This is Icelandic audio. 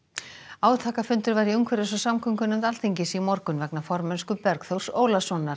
átakafundur var í umhverfis og samgöngunefnd Alþingis í morgun vegna formennsku Bergþórs Ólasonar